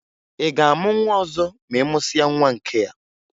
Ị ga-amụ nwa ọzọ ma ị mụsịa nwa nkea?